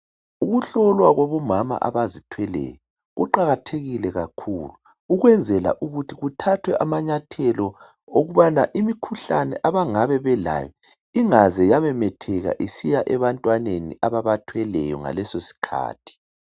Ukuhlolwa Kwabomama abazithweleyo kuqakathekile kakhulu ukweNzela ukuthi kuthathwe amanyathelo okubana Imikhuhlane abangabe belayo ingaze yamemetheka isiya ebantwaneni ababathweleyo ngaleso sikhathi